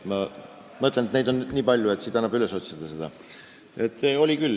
Neid hääletusi on nii palju, et siit annab seda üles otsida.